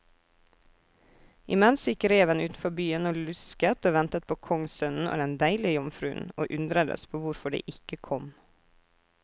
Imens gikk reven utenfor byen og lusket og ventet på kongssønnen og den deilige jomfruen, og undredes på hvorfor de ikke kom.